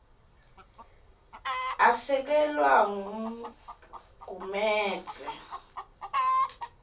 asekelwa ngugumedze m